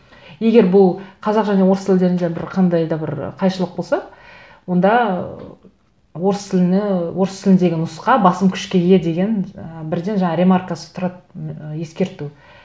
егер бұл қазақша мен орыс тілдерінде бір қандай да бір қайшылық болса онда орыс тіліне орыс тіліндегі нұсқа басым күшке ие деген ы бірден жаңағы ремаркасы тұрады ы ескерту